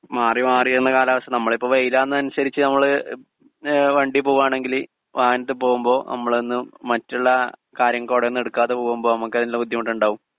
speaker 2 മാറി മാറിയുള്ള കാലാവസ്ഥ നമ്മളിപ്പോ വെയിലാകുന്നതിനനുസരിച്ച് നമ്മള് വണ്ടിയില് പോകാണെങ്കില് വാഹനത്തില് പോകുമ്പോ നമ്മളൊന്നു മറ്റുള്ള കാര്യം കുടയൊന്നും എടുക്കാതെ പോകുമ്പോ നമുക്കതിനുള്ള ബുദ്ധിമുട്ടുണ്ടാകും